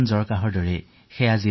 সাধাৰণ চৰ্দীজ্বৰৰ দৰে